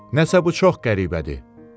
Nəsə bu çox qəribədir.